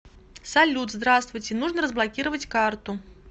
салют здравствуйте нужно разблокировать карту